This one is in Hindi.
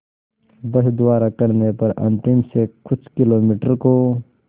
बस द्वारा करने पर अंतिम से कुछ किलोमीटर को